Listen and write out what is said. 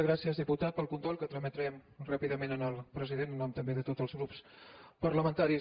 gràcies diputat pel condol que trametrem ràpidament al president en nom també de tots els grups parlamentaris